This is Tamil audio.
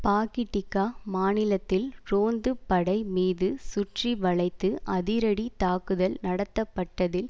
பாக்டிக்கா மாநிலத்தில் ரோந்து படை மீது சுற்றி வளைத்து அதிரடி தாக்குதல் நடத்தப்பட்டதில்